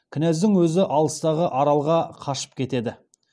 кінәздің өзі алыстағы аралға қашып кетеді